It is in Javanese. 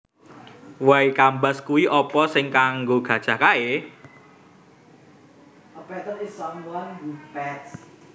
Way Kambas kui opo sing kanggo gajah kae?